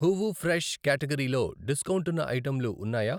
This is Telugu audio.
హూవు ఫ్రెష్ క్యాటగరీ లో డిస్కౌంటున్న ఐటెంలు ఉన్నాయా?